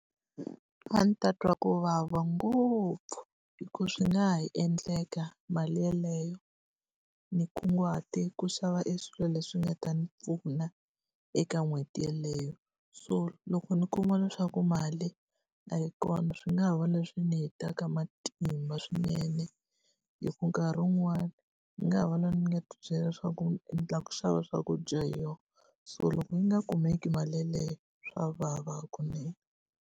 A ndzi ta twa ku vava ngopfu, hi ku swi nga ha endleka mali yeleyo ni kunguhate ku xava e swilo leswi nga ta ni pfuna eka n'hweti yeleyo. So loko ndzi kuma leswaku mali a yi kona swi nga ha va leswi ni hetaka matimba swinene. Hikuva nkarhi wun'wani, ni nga ha va loyi ni nga ti byela leswaku ndzi endla ku xava swakudya hi yona, so loko yi nga kumeki mali yeleyo swa vava kunene.